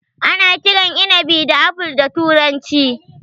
Ana kiran inabi da Apple da turanci.